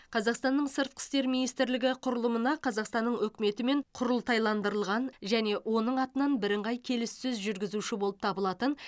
қазақстанның сыртқы істер министрлігі құрылымына қазақстанның үкіметімен құрылтайландырылған және оның атынан бірыңғай келіссөз жүргізуші болып табылатын